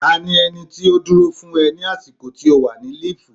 Ta ni ẹni tí ó dúró fún ẹ ní àsìkò tí o wà ní líìfù.